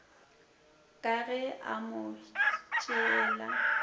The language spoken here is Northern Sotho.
ka ge a mo tšeela